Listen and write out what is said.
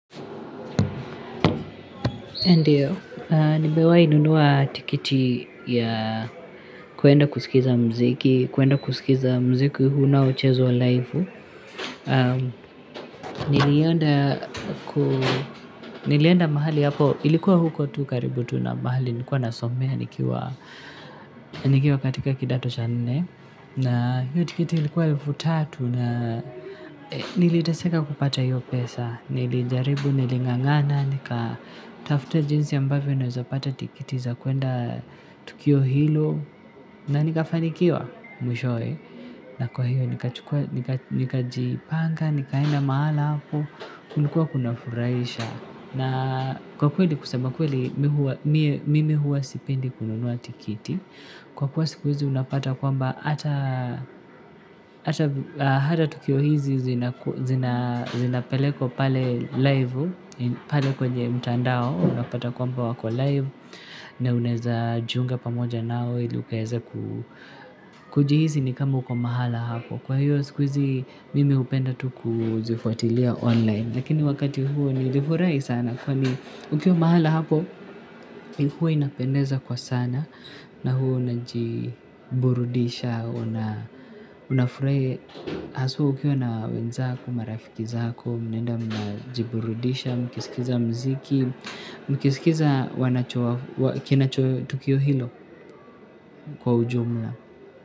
Ndiyo, nimewai nunua tikiti ya kuenda kusikiza mziki, kuenda kusikiza mziki una ochezwa laivu. Nilienda mahali hapo, ilikuwa huko tu karibu tu na mahali, nikuwa nasomea nikiwa nikiwa katika kidato cha nne. Na hiyo tikiti ilikuwa elfu tatu na niliteseka kupata hiyo pesa. Nilijaribu, niling'ang'ana, nikatafuta jinsi ambavyo naeza pata tikiti za kuenda tukio hilo. Na nikafanikiwa mwishowe. Na kwa hiyo nikajipanga, nikaenda mahala hapo, kulikuwa kuna furahisha. Na kwa kweli kusema kweli mimi huwa sipendi kununua tikiti. Kwa kuwa siku hizi unapata kwamba hata tukio hizi zinapelekwa pale live pale kwenye mtandao unapata kwamba wako live na unaeza jiunga pamoja nao ili ukaeze kujihisi ni kama kwa mahala hapo kwa hiyo siku hizi mimi hupenda tu kuzifuatilia online lakini wakati huo nilifurahi sana kwani ukiwa mahala hapo huwa inapendeza kwa sana na huwa unajiburudisha, unafurahi hass ukiwa na wenzako, marafiki zako mnenda mnajiburudisha, mkisikiza mziki, mkisikiza kinacho tukio hilo kwa ujumla.